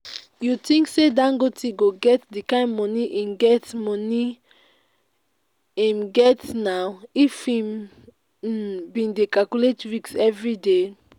you think say dangote go get the kyn money im get money im get now if im um bin dey calculate risk everyday?